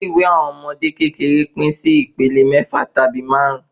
Ilé ìwé àwọn ọmọdé kékeré pín sí ìpele méfà tàbí márùn